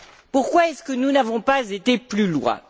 Pourquoi est ce que nous n'avons pas été plus loin?